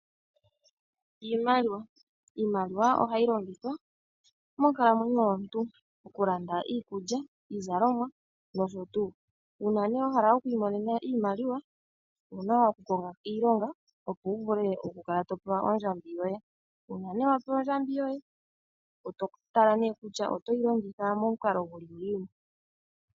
Iimaliwa, Iimaliwa ohayi longithwa monkalamwenyo yomuntu okulanda iikulya, iizalomwa nosho tu. Uuna ne wa hala okuli monena iimaliwa owu na okukonga iilonga opo wu vule okukala to pewa ondjambi yoye. Uuna ne wa pewa ondjambi yoye oto tala ne kutya otoyi longitha momukalo gu li ngiini.